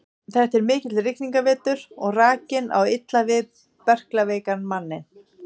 Þetta er mikill rigningarvetur og rakinn á illa við berklaveikan manninn.